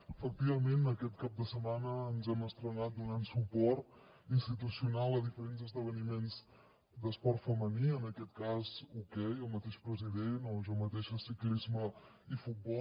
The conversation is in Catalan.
efectivament aquest cap de setmana ens hem estrenat donant suport institucional a diferents esdeveniments d’esport femení en aquest cas hoquei el mateix president o jo mateixa ciclisme i futbol